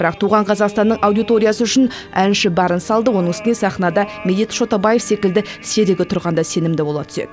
бірақ туған қазақстанның аудиториясы үшін әнші барын салды оның үстіне сахнада медет шотабаев секілді серігі тұрғанда сенімді бола түседі